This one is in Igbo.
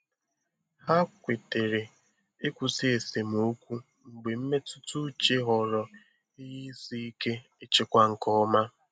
Ha kwetere ịkwụsị esemokwu mgbe mmetụta uche ghọrọ ihe isi ike ịchịkwa nke ọma.